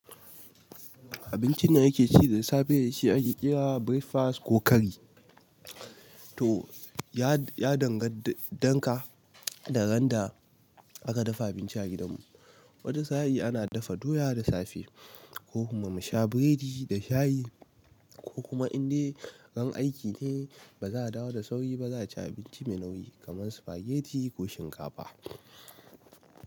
Abincin da nake ci da safe shi ake kira breakfast ko kari. To ya, ya dangan danka da ga ran da aka dafa abinci a gidan mu. Wata sa'i ana dafa doya da safe ko kuma mu sha biredi da shayi ko kuma in de ran aiki ne ba za a dawo da sauri ba za ci abinci mai nauyi kaman spaghetti ko shinkafa.